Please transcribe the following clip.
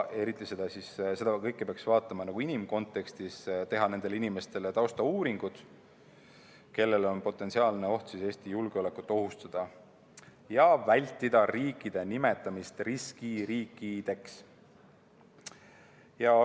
Eriti peaks seda kõike vaatama inimkontekstis, tuleks uurida nende inimeste tausta, kellel on potentsiaalne oht Eesti julgeolekut ohustada, ja vältida riikide nimetamist riskiriikideks.